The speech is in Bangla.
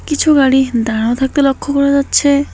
কিছু গাড়ি দাঁড়ানো থাকতে লক্ষ করা যাচ্ছে।